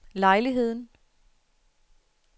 lejligheden